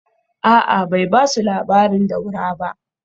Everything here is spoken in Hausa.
A’a, bai ba su labarin Daura ba